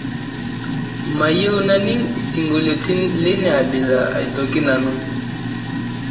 mayieu naning' isingolioitin leina abila aitoki nanu